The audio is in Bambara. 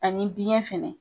Ani biɲɛ fɛnɛ